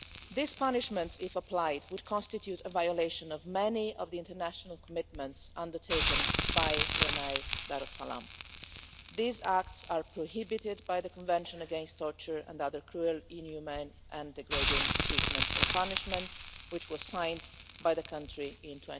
These punishments if applied would constitute a violation of many of the international commitments undertaken by Brunei Darussalam. These acts are prohibited by the Convention against Torture and other cruel, inhumane and degrading treatment or punishment, which was signed by the country in